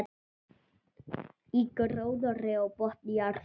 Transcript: Í gróðri á botni jarðar.